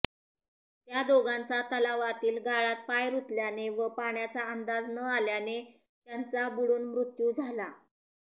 त्या दोघांचा तलावातील गाळात पाय रुतल्याने व पाण्याचा अंदाज न आल्याने त्यांचा बुडून मृत्यू झाला